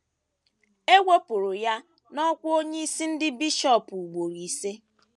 Ewepụrụ ya n’ọ́kwá onyeisi ndị bishọp ugboro ise.